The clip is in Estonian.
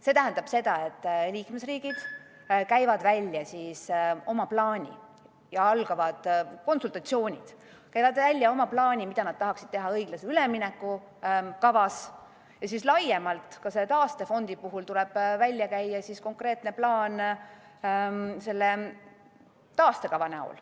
See tähendab seda, et liikmesriigid esitavad siis oma plaani ja algavad konsultatsioonid, nad käivad välja oma plaani, mida nad tahaksid teha õiglase ülemineku kavas, ja laiemalt ka taastefondi puhul tuleb esitada konkreetne plaan selle taastekavana.